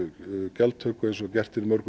gjaldtöku eins og gert er í mörgum